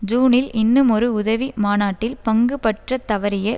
ஜூனில் இன்னுமொரு உதவி மாநாட்டில் பங்குபற்றத் தவறிய